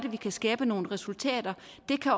er vi kan skabe nogle resultater